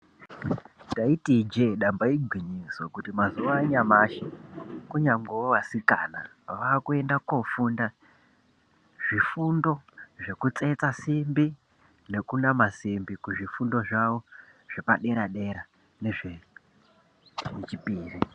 Ndaiti Ije damba igwinyiso remene mene kunyangwewo vasikana vakuenda kofunda zvifundo zvekutsetsa simbi nekunama simbi kuzvifundo zvepadera dera nezvei chipiri.